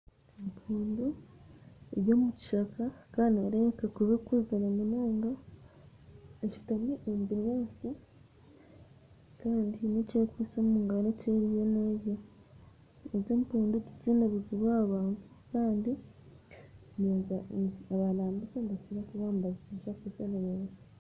Empundu eri omu kishaka kandi nereebeka kuba ekuzire munonga esutami omu binyatsi kandi eine eki ekwite omu ngaro eki eriyo nerya. Egyo empundu tekyaine obuzibu aha abantu kandi abarambuzi nibakira kushishana abantu